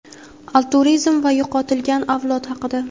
altruizm va yo‘qotilgan avlod haqida.